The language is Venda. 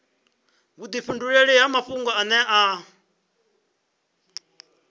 vhudifhinduleli ha mafhungo ane a